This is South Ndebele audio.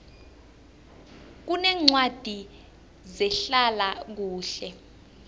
kuneencwadi zehlala kuhle